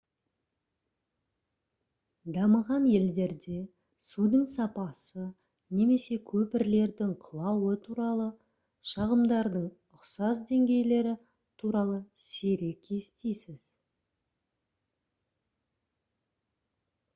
дамыған елдерде судың сапасы немесе көпірлердің құлауы туралы шағымдардың ұқсас деңгейлері туралы сирек естисіз